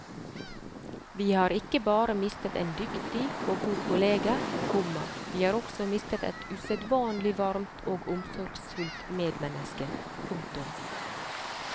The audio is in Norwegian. Vi har ikke bare mistet en dyktig og god kollega, komma vi har også mistet et usedvanlig varmt og omsorgsfullt medmenneske. punktum